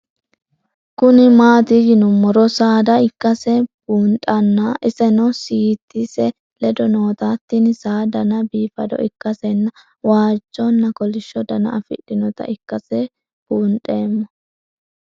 Kuni mati yiinumoro saada ikase bundhana iseno siitise leedo nootana tin saa Dana biifado ikasena waajona koolisho Dana afidhinota ikase bundhemo?